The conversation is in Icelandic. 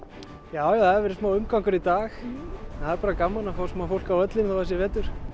já það hefur verið smá umgangur í dag en það er bara gaman að fá smá fólk á völlinn þó það sé vetur